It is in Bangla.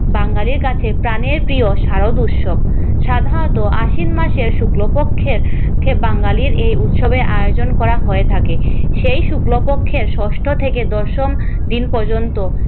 বাঙালির কাছে প্রাণের প্রিয় শারদ উৎসব, সাধারণতঃ আশ্বিন মাসের শুক্লপক্ষে বাঙালির এই উৎসবের আয়োজন করা হয়ে থাকে। সেই শুক্লপক্ষের ষষ্ঠ থেকে দশম দিন পর্যন্ত